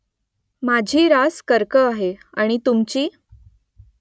माझी रास कर्क आहे . आणि तुमची ?